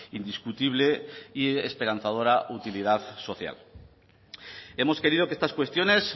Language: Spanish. indiscutible y esperanzadora utilidad social hemos querido que estas cuestiones